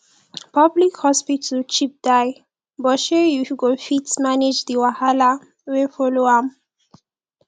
public hospital cheap die but shey yu go fit manage di wahala wey follow am